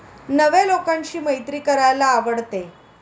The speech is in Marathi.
नव्या लोकांशी मैत्री करायला आवडते.